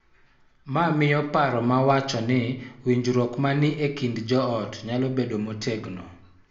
Mano miyo paro ma wacho ni winjruok ma ni e kind joot nyalo bedo motegno .